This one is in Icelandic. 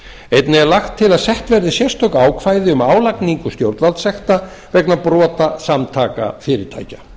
einnig er lagt til að sett verði sérstök ákvæði um álagningu stjórnvaldssekta vegna brota samtaka fyrirtækja